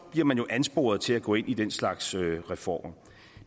bliver man jo ansporet til at gå ind i den slags reformer